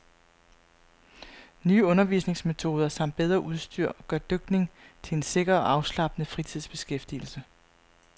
Nye undervisningsmetoder samt bedre udstyr gør dykning til en sikker og afslappende fritidsbeskæftigelse.